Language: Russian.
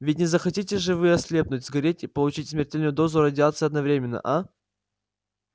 ведь не захотите же вы ослепнуть сгореть и получить смертельную дозу радиации одновременно а